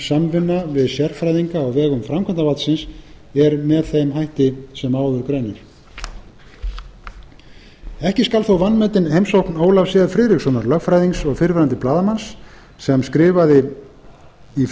samvinna við sérfræðinga á vegum framkvæmdarvaldsins er með þeim hætti sem áður greinir ekki skal þó vanmetin heimsókn ólafs e friðrikssonar lögfræðings og fyrrverandi blaðamanns sem skrifaði í